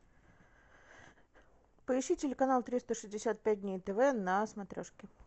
поищи телеканал триста шестьдесят пять дней тв на смотрешке